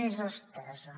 més estesa